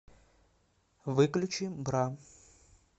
выключи бра